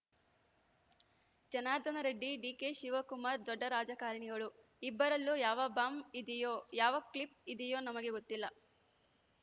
ಜನಾರ್ದನ ರೆಡ್ಡಿ ಡಿಕೆಶಿವಕುಮಾರ್‌ ದೊಡ್ಡ ರಾಜಕಾರಣಿಗಳು ಇಬ್ಬರಲ್ಲೂ ಯಾವ ಬಾಂಬ್‌ ಇದೆಯೋ ಯಾವ ಕ್ಲಿಪ್‌ ಇದೆಯೋ ನಮಗೆ ಗೊತ್ತಿಲ್ಲ